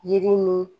Yiri ni